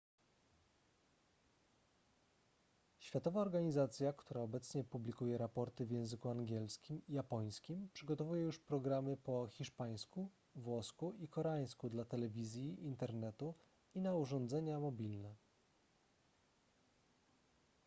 światowa organizacja która obecnie publikuje raporty w języku angielskim i japońskim przygotowuje już programy po hiszpańsku włosku i koreańsku dla telewizji internetu i na urządzenia mobilne